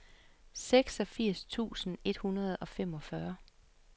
seksogfirs tusind et hundrede og femogfyrre